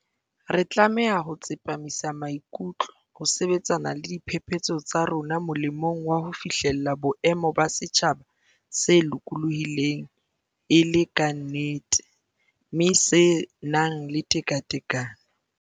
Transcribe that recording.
Re tlameha ho tsepamisa maikutlo ho sebetsana le diphephetso tsa rona molemong wa ho fihlella boemo ba setjhaba se lokolohileng e le ka nnete, mme se nang le tekatekano.